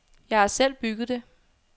Jeg har selv bygget det.